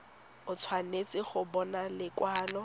o tshwanetse go bona lekwalo